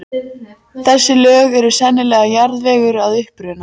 Þessi lög eru sennilega jarðvegur að uppruna.